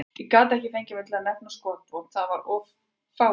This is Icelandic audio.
Ég gat ekki fengið mig til að nefna skotvopn, það var of fáránlegt.